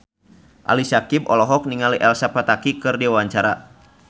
Ali Syakieb olohok ningali Elsa Pataky keur diwawancara